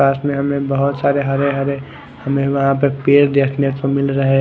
पास में हमे बहोत सारे हरे हरे हमे वहा पर पेड़ देखने को मिल रहे--